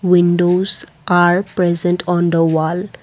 windows are present on the wall.